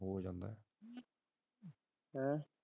ਹੈਂ